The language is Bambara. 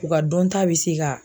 U ka dɔn ta bɛ se ka